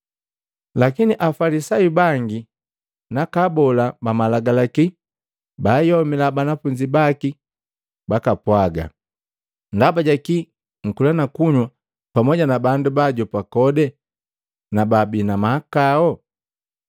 Lakini Afalisayu bangi naka abola ba Malagalaka baayomila banafunzi baki bakapwaga, “Ndaba jaki nkula na kunywa pamu na bandu bajopa kodi na baabi na mahakao?”